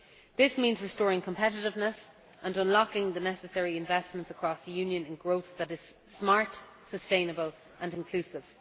This means restoring competitiveness, and unlocking the necessary investments across the Union in growth that is smart, sustainable and inclusive.